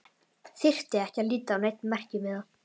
Þyrfti ekki að líta á neinn merkimiða.